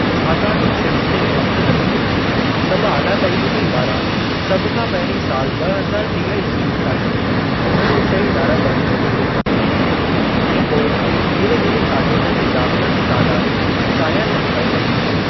छाकाणि हिन सिरिश्ते में वक्तु लॻंदो, सभु आला तालीमी इदारा सभ खां पहिरीं साल ॿ हज़ार टीह ईस्वी ताईं घण विषयी इदारा बणिजण जी योजना ठाहींदा ऐं पोइ धीरे धीरे शागिर्दनि जे दाखिला जो तादाद चाहियल हद ताईं वधाईंदा।